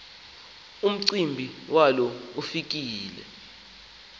umcimbi walo ufike